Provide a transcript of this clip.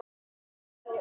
Þeir elskuðu mig.